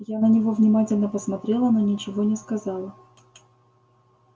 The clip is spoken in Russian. я на него внимательно посмотрела но ничего не сказала